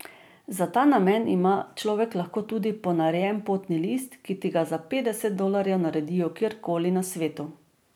Za ta namen ima človek lahko tudi ponarejen potni list, ki ti ga za petdeset dolarjev naredijo kjerkoli na svetu.